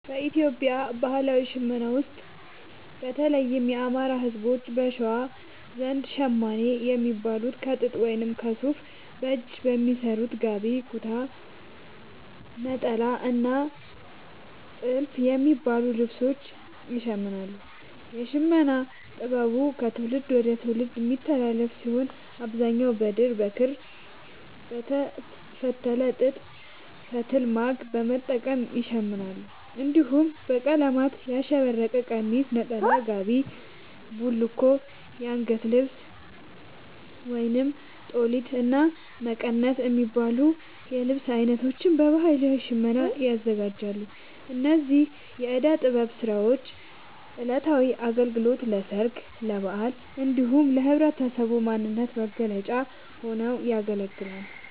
በኢትዮጵያ ባህላዊ ሽመና ውስጥ፣ በተለይም የአማራ፣ ህዝቦች(በሸዋ) ዘንድ ‘ሸማኔ’ የሚባሉት ከጥጥ ወይም ከሱፍ በእጅ በሚሰሩ ‘ጋቢ’፣ ‘ኩታ’፣ ‘ኔጣላ’ እና ‘ቲልፍ’ የሚባሉ ልብሶችን ይሽምናሉ። የሽመና ጥበቡ ከትውልድ ወደ ትውልድ የሚተላለፍ ሲሆን፣ በአብዛኛው በድር፣ በክር፣ በተፈተለ ጥጥ ፈትል(ማግ) በመጠቀም ይሸምናሉ። እንዲሁም በቀለማት ያሸበረቀ ቀሚስ፣ ነጠላ፣ ጋቢ፣ ቡልኮ፣ አንገት ልብስ(ጦሊት)፣እና መቀነት የሚባሉ የልብስ አይነቶችን በባህላዊ ሽመና ያዘጋጃሉ። እነዚህ የእደ ጥበብ ስራዎች ለዕለታዊ አገልግሎት፣ ለሠርግ፣ ለበዓላት እንዲሁም ለህብረተሰቡ ማንነት መገለጫ ሆነው ያገለግላሉ።